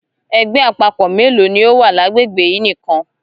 Ẹgbẹ àpapọ mélòó ní ọ wá l'agbegbe yìí nìkan?